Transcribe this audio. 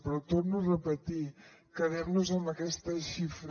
però ho torno a repetir quedem nos amb aquesta xifra